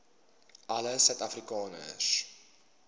alle suid afrikaners